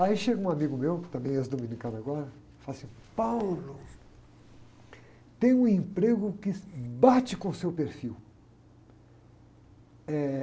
Aí chega um amigo meu, também é ex-dominicano agora, e fala assim, tem um emprego que bate com o seu perfil. Eh...